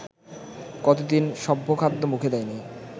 কতদিন সভ্যখাদ্য মুখে দেয়নি